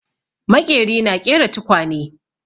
Maƙeri na ƙera tukwane.